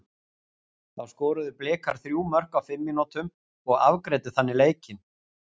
Þá skoruðu Blikar þrjú mörk á fimm mínútum og afgreiddu þannig leikinn.